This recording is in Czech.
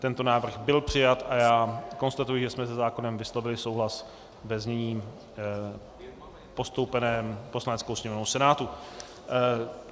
Tento návrh byl přijat a já konstatuji, že jsme se zákonem vyslovili souhlas ve znění postoupeném Poslaneckou sněmovnou Senátu.